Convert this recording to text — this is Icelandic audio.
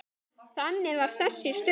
Þannig var þessi stund.